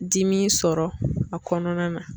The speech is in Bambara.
Dimi sɔrɔ a kɔnɔna na.